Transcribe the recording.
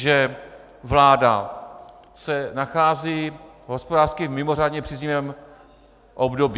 Že vláda se nachází v hospodářsky mimořádně příznivém období.